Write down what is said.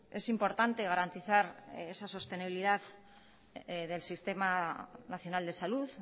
es importante garantizar esa sostenibilidad del sistema nacional de salud